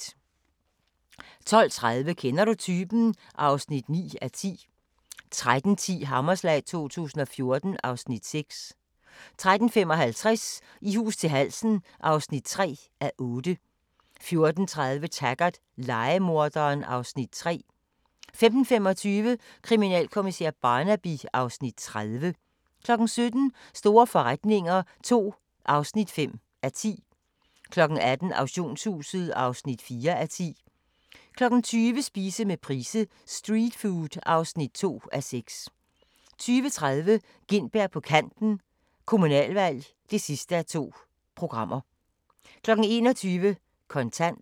12:30: Kender du typen? (9:10) 13:10: Hammerslag 2014 (Afs. 6) 13:55: I hus til halsen (3:8) 14:30: Taggart: Lejemorderen (Afs. 3) 15:25: Kriminalkommissær Barnaby (Afs. 30) 17:00: Store forretninger II (5:10) 18:00: Auktionshuset (4:10) 20:00: Spise med Price : "Streetfood" (2:6) 20:30: Gintberg på Kanten – Kommunalvalg (2:2) 21:00: Kontant